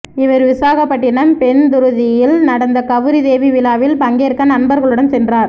இவர் விசாகப்பட்டினம் பென்துருத்தியில் நடந்த கவுரி தேவி விழாவில் பங்கேற்க நண்பர்களுடன் சென்றார்